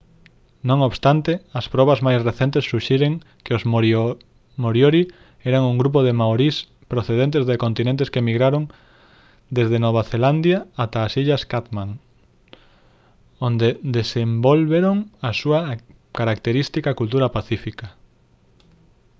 non obstante as probas máis recentes suxiren que os moriori eran un grupo de maorís procedentes do continente que migraron desde nova zelandia ata as illas chatham onde desenvolveron a súa característica cultura pacífica